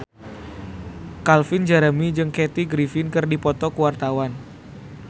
Calvin Jeremy jeung Kathy Griffin keur dipoto ku wartawan